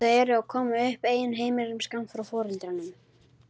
Þau eru að koma upp eigin heimilum skammt frá foreldrunum.